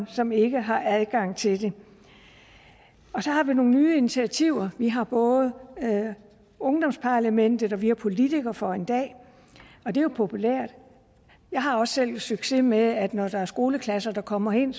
som ikke har adgang til det så har vi nogle nye initiativer vi har både ungdomsparlamentet og vi har politiker for en dag og det er jo populært jeg har også selv succes med at når der er skoleklasser der kommer herind